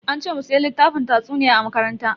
An ce mu siya littafin tatsuniya a makaranta.